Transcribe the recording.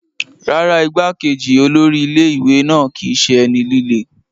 Rárá, igbá-kejì olórí ilé ìwé náà kìí ṣe ẹni líle.